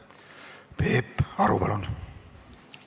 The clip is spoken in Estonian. Peep Aru, palun!